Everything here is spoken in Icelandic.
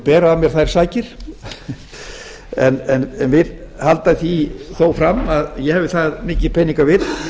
bera af mér þær sakir en vil halda því þó fram að ég hafi það mikið peningavit